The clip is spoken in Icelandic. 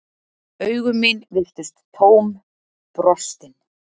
Augu mín virtust tóm, brostin.